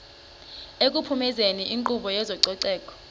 ekuphumezeni inkqubo yezococeko